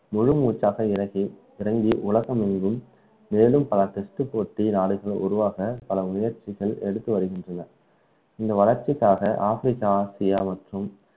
முழுமூச்சாக இறங்கி உலகமெங்கும் மேலும் பல test போட்டி நாடுகளில் உருவாக பல முயற்ச்சிகள் எடுத்து வருகின்றனர் இந்த வளர்ச்சிக்காக ஆப்பிரிக்கா ஆசியா மற்றும்